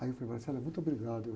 Aí muito obrigado.